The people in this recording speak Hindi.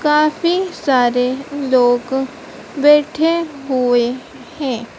काफी सारे लोग बैठे हुए है।